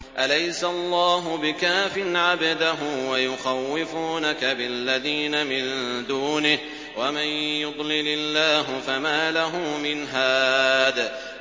أَلَيْسَ اللَّهُ بِكَافٍ عَبْدَهُ ۖ وَيُخَوِّفُونَكَ بِالَّذِينَ مِن دُونِهِ ۚ وَمَن يُضْلِلِ اللَّهُ فَمَا لَهُ مِنْ هَادٍ